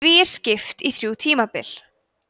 því er skipt í þrjú tímabil